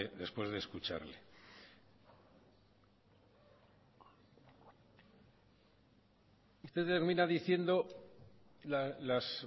después de escucharle usted termina diciendo las